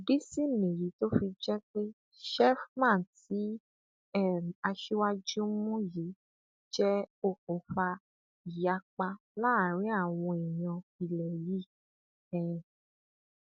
ìdí sì nìyí tó fi jẹ pé sheffman tí um aṣíwájú mú yìí jẹ okùnfà ìyapa láàrin àwọn èèyàn ilẹ yìí um